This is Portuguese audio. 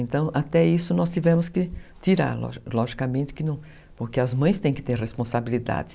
Então, até isso nós tivemos que tirar, lo logicamente que não, porque as mães têm que ter responsabilidade.